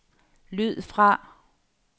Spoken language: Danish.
lyd fra